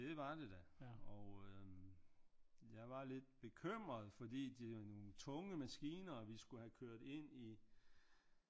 Det var det da og øh jeg var lidt bekymret fordi det er nogle tunge maskiner vi skulle have kørt ind i